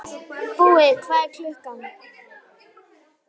Búi, hvað er klukkan?